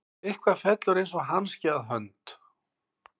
Eitthvað fellur eins og hanski að hönd